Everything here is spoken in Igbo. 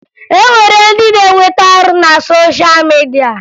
O nwere ndị na-enweta ọrụ na sosha midia